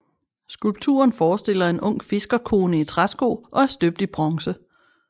Skulpturen forestiller en ung fiskerkone i træsko og er støbt i bronze